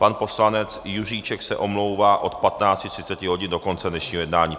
Pan poslanec Juříček se omlouvá od 15.30 hodin do konce dnešního jednání.